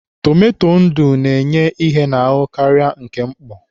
Tomato ndụ na-enye ihe n'ahụ karịa nke mkpọ.